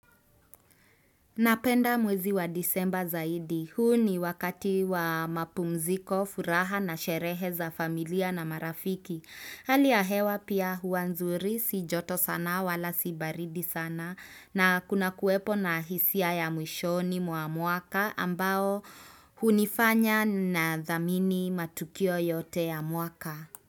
Napenda mwezi wa disemba zaidi. Huu ni wakati wa mapumziko, furaha na sherehe za familia na marafiki. Hali ya hewa pia hua nzuri, si joto sana wala si baridi sana na kuna kuwepo na hisia ya mwishoni mwa mwaka ambao hunifanya ninadhamini matukio yote ya mwaka.